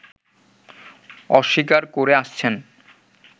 অস্বীকার করে আসছেন